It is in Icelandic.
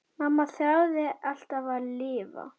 Mamma þráði alltaf að lifa.